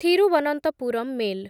Thiruvananthapuram mail